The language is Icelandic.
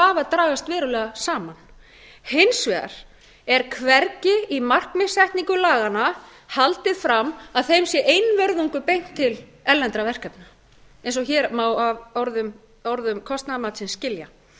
vafa dragast verulega saman hins vegar er hvergi í markmiðssetningu laganna haldið fram að þeim sé einvörðungu beint til erlendra verkefna eins og hér má af orðum kostnaðarmatsins skilja raunar